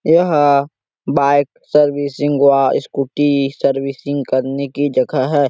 यह bike servicing या Scooty servicing करने की जगह हैं।